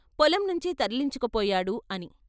పొలం నుంచే తరలించుకుపోయాడు " అని.